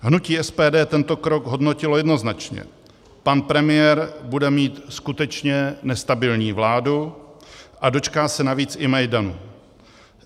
Hnutí SPD tento krok hodnotilo jednoznačně - pan premiér bude mít skutečně nestabilní vládu a dočká se navíc i Majdanu.